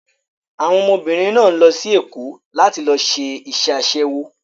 Àwọn ọmọbìnrin náà ń lọ sí Èkó láti lọ ṣe iṣẹ́ aṣẹ́wó.